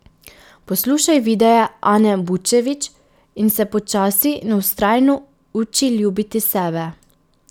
Poslušaj videe Ane Bučević in se počasi in vztrajno uči ljubiti sebe.